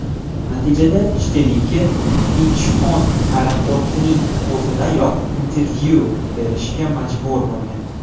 Natijada Shtilike Inchxon aeroportining o‘zidayoq intervyu berishga majbur bo‘lgan.